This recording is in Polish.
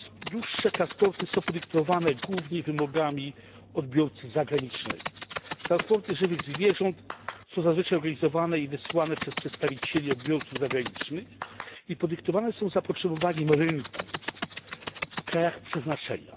Dłuższe transporty są podyktowane głównie wymogami odbiorcy zagranicznego. Transporty żywych zwierząt są zazwyczaj organizowane i wysyłane przez przedstawicieli odbiorców zagranicznych i są podyktowane zapotrzebowaniem na rynku w krajach przeznaczenia.